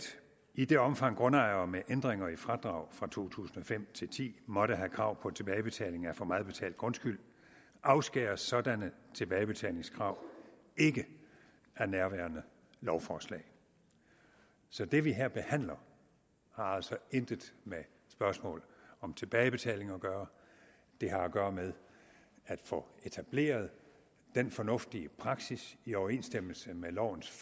i det omfang grundejere med ændringer i fradrag fra to tusind og fem til ti måtte have krav på tilbagebetaling af for meget betalt grundskyld afskæres sådanne tilbagebetalingskrav ikke af nærværende lovforslag så det vi her behandler har altså intet med spørgsmål om tilbagebetaling at gøre det har at gøre med at få etableret den fornuftige praksis i overensstemmelse med lovens